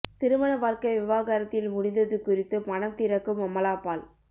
திருமண வாழ்க்கை விவாகரத்தில் முடிந்தது குறித்து மனம் திறக்கும் அமலாபால்